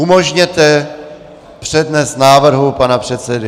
Umožněte přednes návrhu pana předsedy.